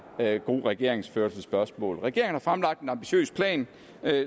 her god regeringsførelses spørgsmål regeringen har fremlagt en ambitiøs plan